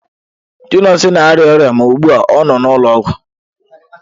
Chinonso na-arịa ọrịa ma ugbu a ọ nọ n'ụlọọgwụ.